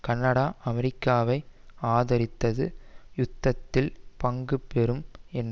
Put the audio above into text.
Canada அமெரிக்காவை ஆதரித்து யுத்தத்தில் பங்கு பெறும் என